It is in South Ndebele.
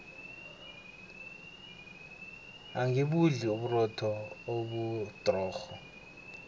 angibudli uburotho obudrorho